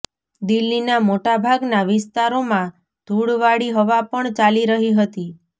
દિલ્લીના મોટાભાગના વિસ્તારોમાં ધૂળવાળી હવા પણ ચાલી રહી હતી